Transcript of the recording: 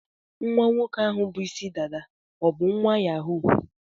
Nwa nwoke ahụ bụ Ịsị dada o bụ nwa Yahoo?